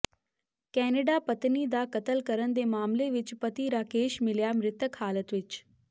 Canada ਪਤਨੀ ਦਾ ਕਤਲ ਕਰਨ ਦੇ ਮਾਮਲੇ ਵਿੱਚ ਪਤੀ ਰਾਕੇਸ਼ ਮਿਲਿਆ ਮ੍ਰਿਤਕ ਹਾਲਤ ਵਿੱਚ